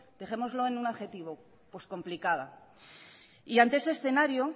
dejémoslo en un adjetivo complicada ante este escenario